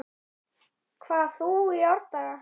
hvað þú í árdaga